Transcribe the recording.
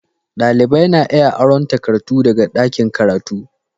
Dalibai na iya aron takardu daga ɗakin karatu